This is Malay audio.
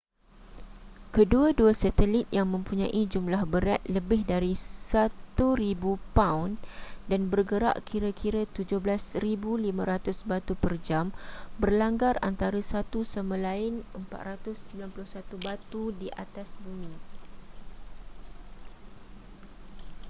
kedua-dua satelit yang mempunyai jumlah berat lebih dari 1,000 paun dan bergerak kira-kira 17,500 batu per jam berlanggar antara satu sama lain 491 batu di atas bumi